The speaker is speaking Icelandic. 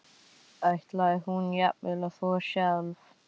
Ætlaði hún jafnvel að þvo sjálf?